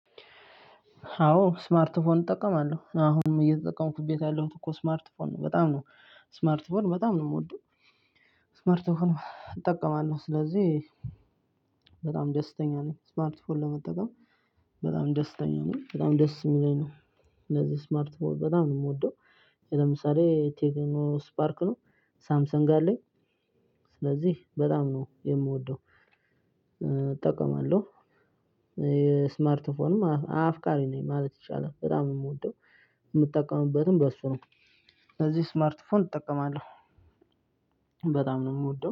አዎ ስማርትፎን እጠቀማለሁ አሁንም እየተጠቀምኩበት ያለሁት እኮ ስማርትፎን ነው በጣም ነው ስማርትፎን በጣም ነው የምወደው። ስማርትፎን እጠቀማለሁ ስለዚህ በጣም ደስተኛ ነኝ። ስማርትፎን ለመጠቀም። በጣም ደስተኛ ነኝ በጣም ደስ የሚለኝ ነው። ስለዚህ ስማርትፎን በጣም ነው የምወደው። ለምሳሌ ቴክኖ ስፓርክ ነው። ሳምሰግ አለኝ። ስለዚህ በጣም ነው የምወደው። እጠቀማለሁ። ስማርትፎን አፍቃሪ ነኝ ማለት ይቻላል በጣም ነው ምወደው። ምጠቀምበትም በሱ ነው። ሲለዚህ ስማርትፎን እጠቀማለሁ። በጣም ነው ምወደው